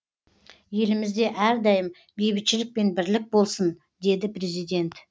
елімізде әрдайым бейбітшілік пен бірлік болсын деді президент